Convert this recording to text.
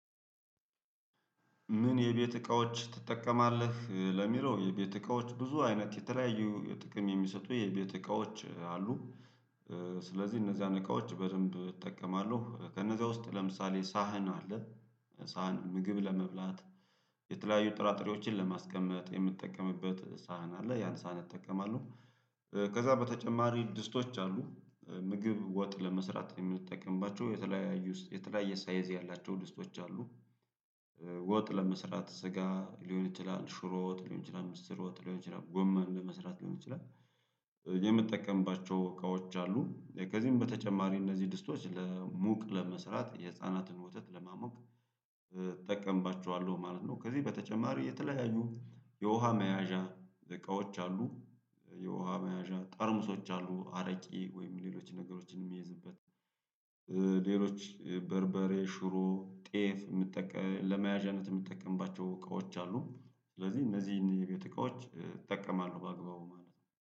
ምን የቤት እቃዎች ትጠቀማለህ ለሚለው የቤት እቃዎች ብዙ አይነት የተለያዩ ጥቅም የሚሰጡ የቤት እቃዎች አሉ? ስለዚህ እነዚያን እቃዎች በደንብ እጠቀማለሁ ከነዚያ ውስጥ ለምሳሌ ሳህን አለ ሳህን ምግብ ለመብላት የተለያዩ ጥራጥሬዎችን ለማስቀመጥ የምጠቀምበት ሳህን አለ ያን ሳህን እጠቀማለሁ። ከዛ በተጨማሪ ድስቶች አሉ። ምግብ ወጥ ለመስራት የምንጠቀምባቸው የተለያዩ የተለያየ ሳይዝ ያላቸው ድስቶች አሉ። ወጥ ለመስራት ስጋ ሊሆን ይችላል ሽሮወጥ ሊሆን ይችላል ምስር ወጥ ሊሆን ይችላል ጎመን ለመስራት ሊሆን ይችላል። የምጠቀምባቸው እቃዎች አሉ ከዚህም በተጨማሪ እነዚህ ድስቶች ለሙቅ ለመስራት የህፃናትን ወተት ለማሞቅ እጠቀምባችዋለሁ ማለት ነው። ከዚህ በተጨማሪ የተለያዩ የውሃ መያዣ እቃዎች አሉ። የውሃ መያዣ ጠርሙሶች አሉ አረቂ ወይም ሌሎች ነገሮችን የሚይዝበት። ሌሎች በርበሬ ሽሮ ጤፍ የምትጠቀም ለመያዣነት የምጠቀምባቸው እቃዎች አሉ። ስለዚህ እነዚህን የቤት እቃዎች እጠቀማለሁ በአግባቡ ማለት ነው